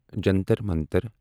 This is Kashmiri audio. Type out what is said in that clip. جنتر منتر